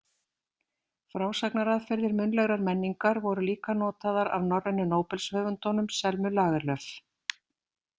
Frásagnaraðferðir munnlegrar menningar voru líka notaðar af norrænu Nóbelshöfundunum Selmu Lagerlöf.